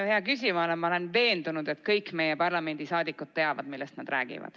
Hea küsija, ma olen veendunud, et kõik meie parlamendi liikmed teavad, millest nad räägivad.